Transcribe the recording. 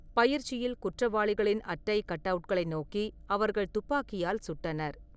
பயிற்சியில் குற்றவாளிகளின் அட்டை கட்அவுட்களை நோக்கி அவர்கள் துப்பாக்கியால் சுட்டனர்.